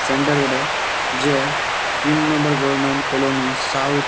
centre বটে যে এ তিন নম্বর গরমেন্ট কলোনি সাউথ --